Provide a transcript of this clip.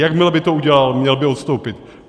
Jakmile by to udělal, měl by odstoupit.